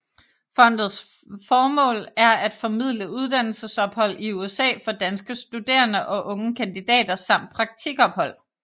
Fondets formål er at formidle uddannelsesophold i USA for danske studerende og unge kandidater samt praktikophold